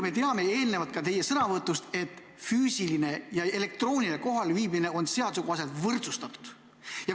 Me teame ka teie sõnavõtust, et füüsiline ja elektrooniline kohalviibimine on seaduse tasemel võrdsustatud.